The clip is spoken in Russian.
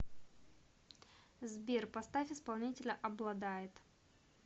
сбер поставь исполнителя обладает